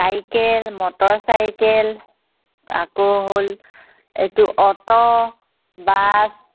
Cycle, motorcycle, আকৌ হ'ল. এইটো অট' বাছ